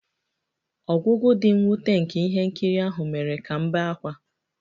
Ọgwụgwụ dị mwute nke ihe nkiri ahụ mere ka m bee ákwá